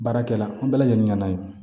Baarakɛla an bɛɛ lajɛlen na yen